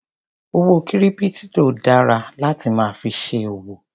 Owó kírípítò dara láti máa fi ṣe òwò.